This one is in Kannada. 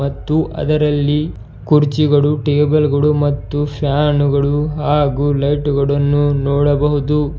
ಮತ್ತು ಅದರಲ್ಲಿ ಕುರ್ಚಿಗಳು ಟೇಬಲ್ ಗಳು ಮತ್ತು ಫ್ಯಾನು ಗಳು ಹಾಗೂ ಲೈಟ್ ಗಳನ್ನು ನೋಡಬಹುದು.